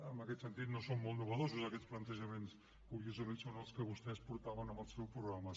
en aquest sentit no són molt innovadors aquests plantejaments curiosament són els que vostès portaven en el seu programa